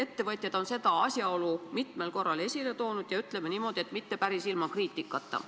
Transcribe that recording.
Ettevõtjad on seda asjaolu mitmel korral esile toonud ja, ütleme niimoodi, et mitte päris ilma kriitikata.